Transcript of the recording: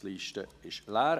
Die Liste ist leer.